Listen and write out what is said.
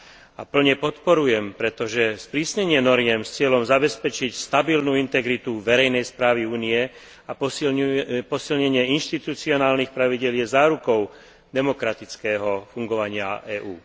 a plne podporujem, pretože sprísnenie noriem s cieľom zabezpečiť stabilnú integritu verejnej správy Únie a posilnenie inštitucionálnych pravidiel je zárukou demokratického fungovania EÚ.